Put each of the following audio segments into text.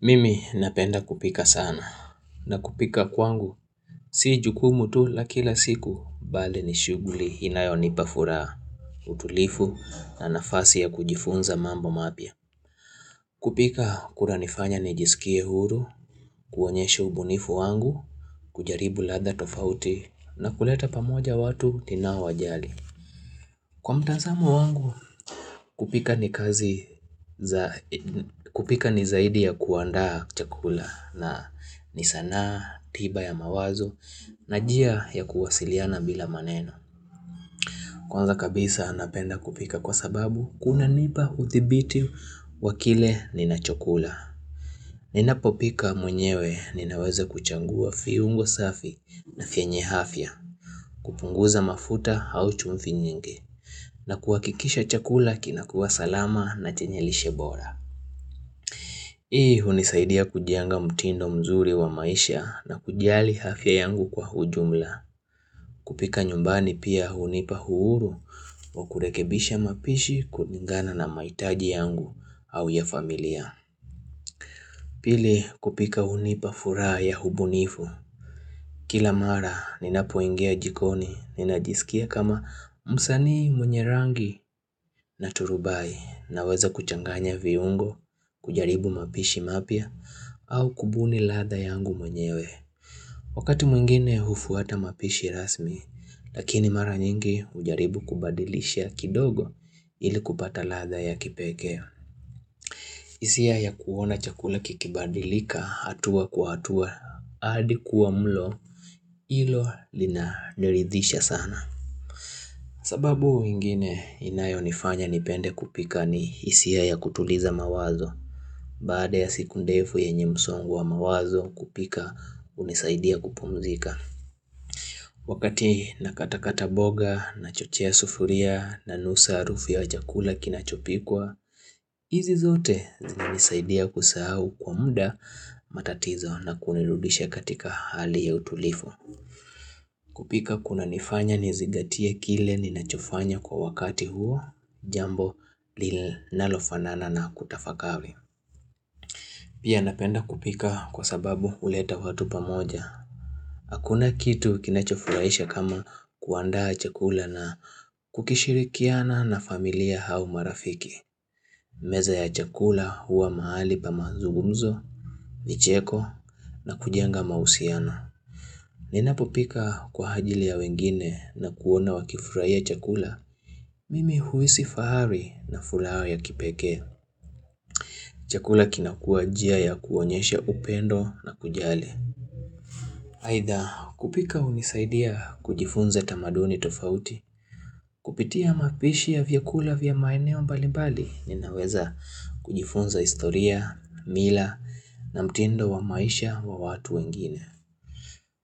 Mimi napenda kupika sana na kupika kwangu si jukumu tu la kila siku bali ni shughuli inayonipa furaha utulivu na nafasi ya kujifunza mambo mapya kupika kunanifanya nijisikie huru, kuonyesha ubunifu wangu, kujaribu ladha tofauti na kuleta pamoja watu ninaowajali Kwa mtazamo wangu kupika ni kazi za kupika ni zaidi ya kuandaa chakula na ni sanaa tiba ya mawazo na njia ya kuwasiliana bila maneno Kwanza kabisa napenda kupika kwa sababu kunanipa udhibiti wa kile ninachokula Ninapopika mwenyewe ninaweza kuchagua viungo safi na vyenye afya kupunguza mafuta au chumvi nyingi na kuhakikisha chakula kinakuwa salama na chenye lishe bora Hii hunisaidia kujenga mtindo mzuri wa maisha na kujali afya yangu kwa ujumla kupika nyumbani pia hunipa uhuru wa kurekebisha mapishi kulingana na mahitaji yangu au ya familia Pili kupika hunipa furaha ya ubunifu Kila mara ninapoingia jikoni ninajisikia kama msanii mwenye rangi na turubai Naweza kuchanganya viungo, kujaribu mapishi mapya au kubuni ladha yangu mwenyewe Wakati mwingine hufuata mapishi rasmi Lakini mara nyingi hujaribu kubadilisha kidogo ili kupata ladha ya kipekee hisia ya kuona chakula kikibadilika hatua kwa hatua adi kuwa mlo hilo linaniridhisha sana sababu ingine inayonifanya nipende kupika ni hisia ya kutuliza mawazo Baada ya siku ndefu yenye msongo wa mawazo kupika hunisaidia kupumzika. Wakati nakata kata mboga, nachochea sufuria, nanusa harufu ya chakula kinachopikwa, hizi zote zinanisaidia kusahau kwa muda matatizo na kunirudisha katika hali ya utulivu. Kupika kunanifanya nizingatie kile ninachofanya kwa wakati huo jambo linalofanana na kutafakari. Pia napenda kupika kwa sababu huleta watu pamoja. Hakuna kitu kinachofurahisha kama kuandaa chakula na kukishirikiana na familia au marafiki. Meza ya chakula huwa mahali pa mazungumzo, micheko na kujenga mahusiano. Ninapopika kwa ajili ya wengine na kuona wakifurahia chakula. Mimi huhisi fahari na furaha ya kipekee. Chakula kinakuwa njia ya kuonyesha upendo na kujali. Aidha kupika hunisaidia kujifunza tamaduni tofauti, kupitia mapishi ya vyakula vya maeneo mbali mbali, ninaweza kujifunza historia, mila na mtindo wa maisha wa watu wengine.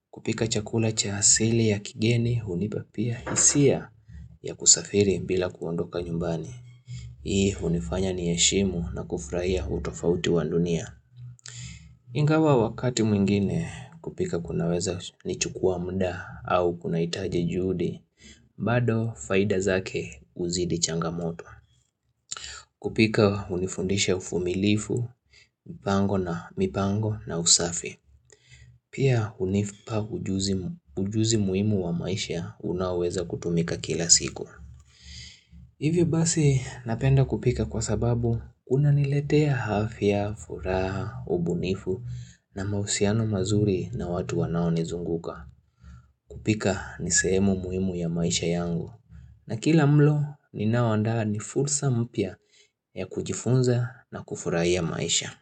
Kupika chakula cha asili ya kigeni hunipa pia hisia ya kusafiri bila kuondoka nyumbani. Hii hunifanya ni heshimu na kufurahia utofauti wa dunia. Ingawa wakati mwingine kupika kunaweza ni chukua muda au kunahitaji juhudi, bado faida zake uzidi changamoto. Kupika hunifundisha uvumilifu, mipango na usafi. Pia hunipa ujuzi muhimu wa maisha unaoweza kutumika kila siku. Hivyo basi napenda kupika kwa sababu kunaniletea afya, furaha, ubunifu na mahusiano mazuri na watu wanaonizunguka kupika ni sehemu muhimu ya maisha yangu. Na kila mlo ninao andaa ni fursa mpya ya kujifunza na kufurahia maisha.